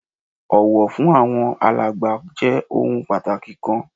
Ọ̀wọ̀ fún àwọn alàgbà jẹ́ ohun pàtàkì kan